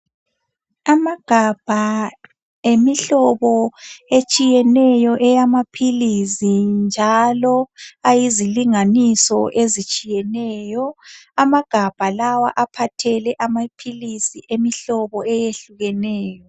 Amagabha emihlobo etshiyeneyo eyamaphilisi njalo ayizilinganiso ezitshiyeneyo amagabha lawa aphathele amaphilisi emihlobo eyehlukeneyo